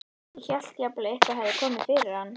Ég hélt jafnvel að eitthvað hefði komið fyrir hann.